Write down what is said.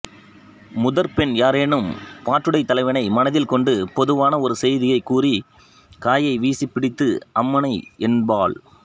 முதற்பெண் யாரேனும் பாட்டுடைத் தலைவனை மனதில் கொண்டு பொதுவான ஒரு செய்தியைக் கூறிக் காயை வீசிப் பிடித்து அம்மானை என்பாள்